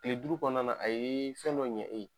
Kile duuru kɔnɔna na a ye fɛn dɔ ɲɛ e ye.